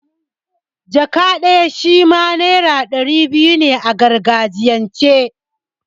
Jaka' shima naira ɗari biyu ne a gargajiyan ce.